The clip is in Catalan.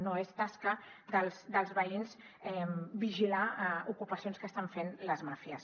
no és tasca dels veïns vigilar ocupacions que estan fent les màfies